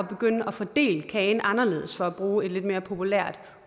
begynde at fordele kagen anderledes for at bruge et lidt mere populært